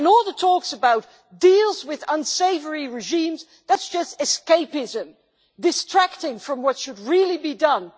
All the talks about deals with unsavoury regimes that is just escapism, distracting from what should really be done.